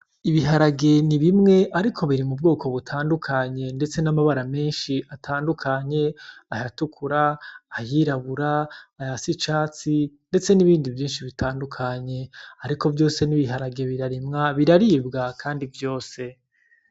Ibiharage ni bimwe ariko biri mu bwoko butandukanye ndetse n'amabara menshi atandukanye ayatukura, ayirabura, ayasa icatsi ndetse nibindi vyinshi bitandukanye, ariko vyose ni ibiharage birarimwa biraribwa kandi vyose.